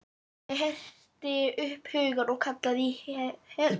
Ég herti upp hugann og kallaði í Helenu.